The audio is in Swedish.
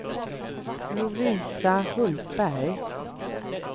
Lovisa Hultberg